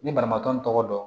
Ni banabaatɔ n tɔgɔ dɔn